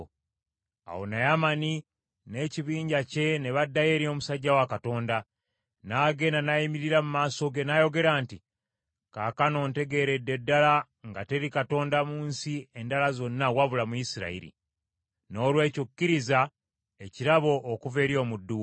Awo Naamani n’ekibinja kye ne baddayo eri omusajja wa Katonda. N’agenda n’ayimirira mu maaso ge, n’ayogera nti, “Kaakano ntegeeredde ddala nga teri Katonda mu nsi endala zonna wabula mu Isirayiri. Noolwekyo kkiriza ekirabo okuva eri omuddu wo.”